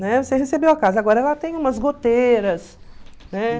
Né? Você recebeu a casa, agora ela tem umas goteiras, né?